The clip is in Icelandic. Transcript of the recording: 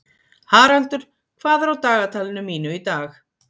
Haraldur, hvað er á dagatalinu mínu í dag?